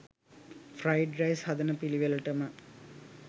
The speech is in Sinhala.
ෆ්‍රයිඩ් රයිස් හදන පිලිවෙලටම